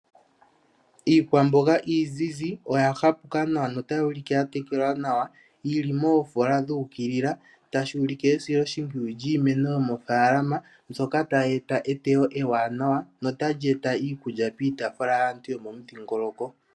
Iikwambonga iizizi oya ha puka nawa nota yuulike yatekelwa nawa yili moofola dhuukilila tashuulike esilo shimpwiyu lyiimeno yomofaalama, mbyoka ta yeeta etewo ewa nawa nota lyeeta iikulya piitafula.